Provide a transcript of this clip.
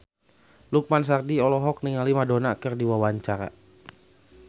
Lukman Sardi olohok ningali Madonna keur diwawancara